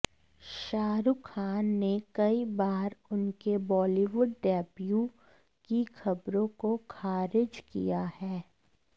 शाहरुख खान ने कई बार उनके बॉलीवुड डेब्यू की खबरों को खारिज किया है